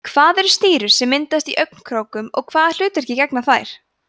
hvað eru stírur sem myndast í augnkrókum og hvaða hlutverki gegna þær